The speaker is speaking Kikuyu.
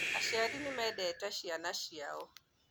Aciari nĩmendete ciana ciao